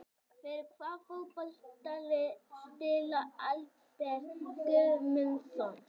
Fyrir hvaða fótboltalið spilar Albert Guðmundsson?